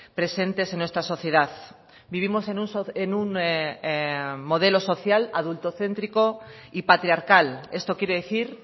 presentes en nuestra sociedad vivimos en un modelo social adulto céntrico y patriarcal esto quiere decir